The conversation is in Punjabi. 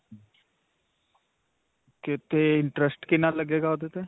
'ਤੇ interest ਕਿੰਨਾ ਲੱਗੇਗਾ ਓਹਦੇ 'ਤੇ.